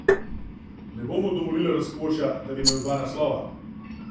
Ne bo mu dovolila razkošja, da bi imel dva naslova.